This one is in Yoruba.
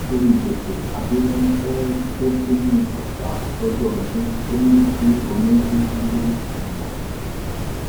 nítorí gbèsè abiodun fee bẹ sínú ọsà lọjọ ọdún ò ní kí omi kúkú gbé òun lọ